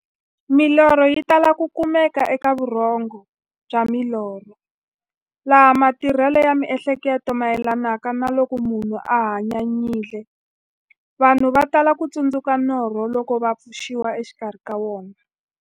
Milorho yi tala ku kumeka eka vurhongo bya milorho, laha matirhele ya mi'hleketo mayelanaka na loko munhu a hanyanyile. Vanhu va tala ku tsundzuka norho loko va pfuxiwa exikarhi ka wona.